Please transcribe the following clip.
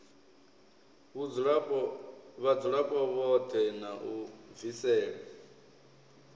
vhadzulapo vhoṱhe na u bvisela